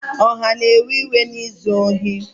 Ọha na-ewe iwe na izu ohi